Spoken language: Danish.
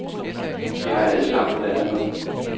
De har allesammen været der.